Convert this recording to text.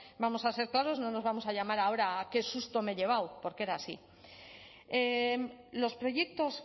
vamos a ser claros no nos vamos a llamar ahora a qué susto me he llevado porque era así los proyectos